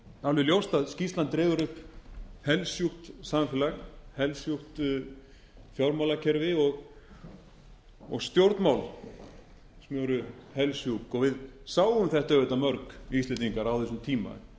alveg ljóst að skýrslan dregur upp helsjúk samfélag helsjúk fjármálakerfi og stjórnmál sem eru helsjúk við sáum þetta auðvitað mörg íslendingar á þessum tíma ég var